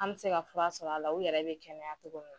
An me se ka fura sɔr'a la u yɛrɛ be kɛnɛya togo min na.